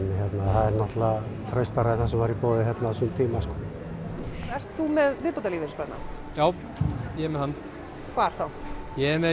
það er náttúrulega traustara en það sem var í boði hérna á sínum tíma ert þú með viðbótarlífeyrissparnað já ég er með hann hvar þá ég er með